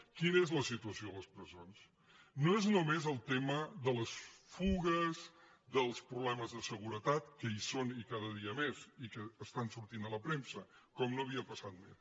quina és la situació a les presons no és només el te·ma de les fugues dels problemes de seguretat que hi són i cada dia més i que estan sortint a la premsa com no havia passat mai